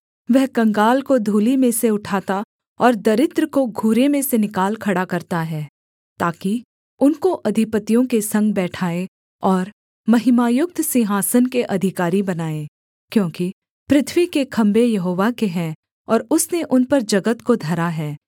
वह कंगाल को धूलि में से उठाता और दरिद्र को घूरे में से निकाल खड़ा करता है ताकि उनको अधिपतियों के संग बैठाए और महिमायुक्त सिंहासन के अधिकारी बनाए क्योंकि पृथ्वी के खम्भे यहोवा के हैं और उसने उन पर जगत को धरा है